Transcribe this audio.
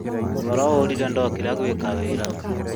Toro ũrire ndokĩra gwĩka wĩra